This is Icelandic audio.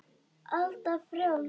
Alda frjáls.